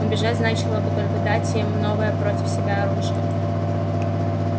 убежать значило бы только дать им новое против себя оружие